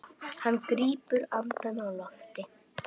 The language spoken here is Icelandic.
Hann grípur andann á lofti.